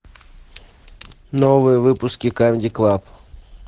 новые выпуски камеди клаб